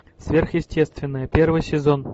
сверхъестественное первый сезон